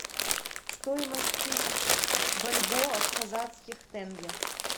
стоимость тысячи бальбоа в казахских тенге